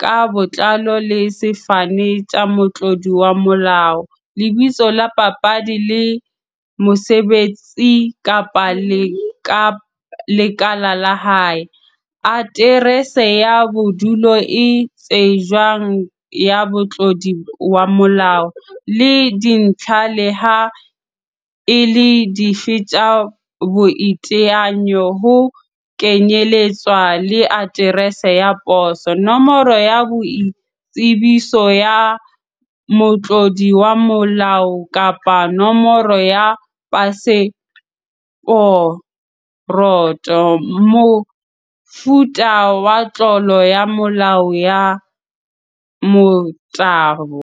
ka botlalo le sefane tsa motlodi wa molao, lebitso la papadi le mosebetsi kapa lekala la hae, Aterese ya bodulo e tsejwang ya Motlodi wa molao, le dintlha leha e le dife tsa boiteanyo, ho kenyeletswa le aterese ya poso, Nomoro ya boitsebiso ya motlodi wa molao kapa nomoro ya paseporoto, Mofuta wa tlolo ya molao ya motabo.